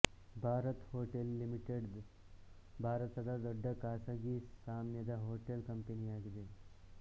Bharat hotel limited ಭಾರತದ ದೊಡ್ಡ ಖಾಸಗೀ ಸ್ವಾಮ್ಯದ ಹೋಟೆಲ್ ಕಂಪನಿಯಾಗಿದೆ